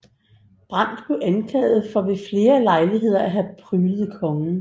Brandt blev anklaget for ved flere lejligheder at have pryglet kongen